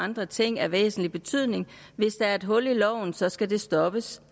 andre ting af væsentlig betydning hvis der er et hul i loven så skal det stoppes